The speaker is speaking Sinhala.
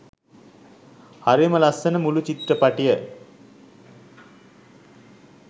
හරිම ලස්සන මුළු චිත්‍රපටිය